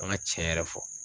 An ŋa tiɲɛ yɛrɛ fɔ